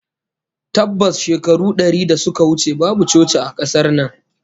Tabbas, shekaru dari da suka wuce babu coci a kasar nan